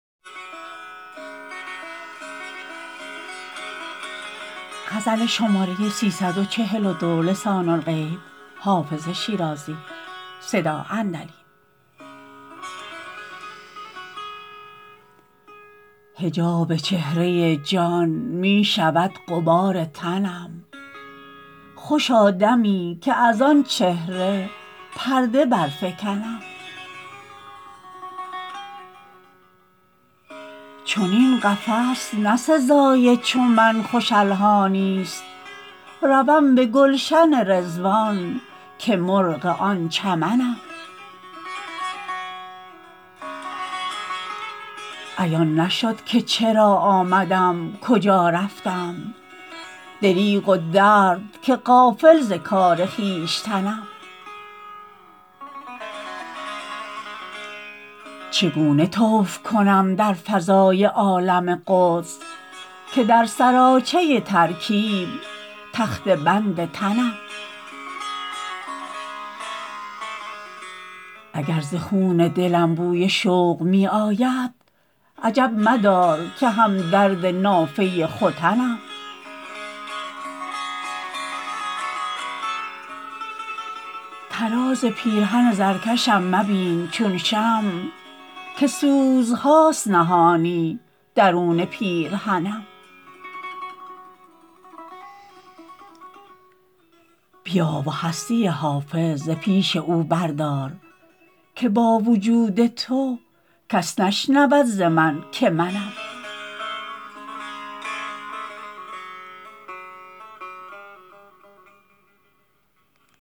حجاب چهره جان می شود غبار تنم خوشا دمی که از آن چهره پرده برفکنم چنین قفس نه سزای چو من خوش الحانی ست روم به گلشن رضوان که مرغ آن چمنم عیان نشد که چرا آمدم کجا رفتم دریغ و درد که غافل ز کار خویشتنم چگونه طوف کنم در فضای عالم قدس که در سراچه ترکیب تخته بند تنم اگر ز خون دلم بوی شوق می آید عجب مدار که هم درد نافه ختنم طراز پیرهن زرکشم مبین چون شمع که سوزهاست نهانی درون پیرهنم بیا و هستی حافظ ز پیش او بردار که با وجود تو کس نشنود ز من که منم